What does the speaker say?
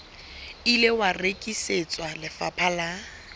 ile wa rekisetswa lefapha la